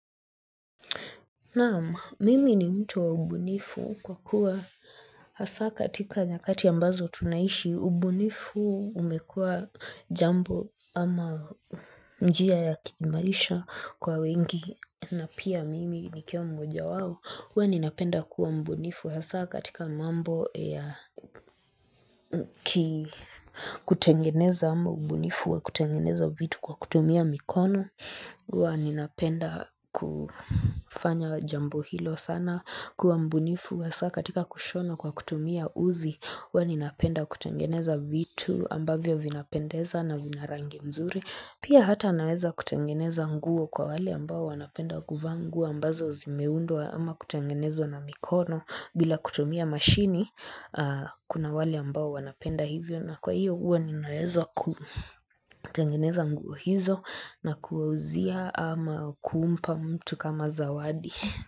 Naam mimi ni mtu wa ubunifu kwa kuwa Hasa katika nyakati ambazo tunaishi ubunifu umekua jambo ama njia ya kimaisha kwa wengi na pia mimi nikiwa mmoja wao Huwa ninapenda kuwa mbunifu hasa katika mambo ya kutengeneza ama ubunifu wa kutengeneza vitu kwa kutumia mikono huwa ninapenda kufanya jambo hilo sana kuwa mbunifu hasa katika kushono kwa kutumia uzi huwa ninapenda kutengeneza vitu ambavyo vinapendeza na vina rangi mzuri pia hata naweza kutangeneza nguo kwa wale ambao wanapenda nguo ambazo zimeundwa ama kutangenezwa na mikono bila kutumia mashini kuna wale ambao wanapenda hivyo na kwa hiyo huwa ninaweza kutengeneza nguo hizo na kuwauzia ama kuumpa mtu kama zawadi.